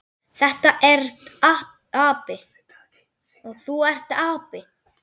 Þú ert api.